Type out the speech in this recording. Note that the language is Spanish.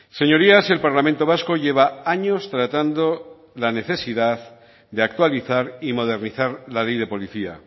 señorías el parlamento vasco lleva años tratando la necesidad de actualizar y modernizar la ley de policía